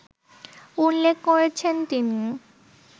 উল্লেখ করেছেন তিনি